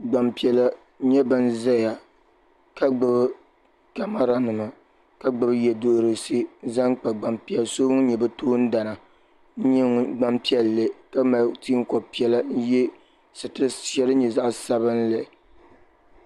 gbampiɛla n nyɛ ban zaya ka gbibi kamara nima ka gbibi yeduhurisi n zaŋ kpa kpenso ŋun nyɛ bɛ toon dana n nyɛ gbampiɛlli ka mali teenkob'piɛlla ka ye sitiri sheli din nyɛ zaɣa sabinli.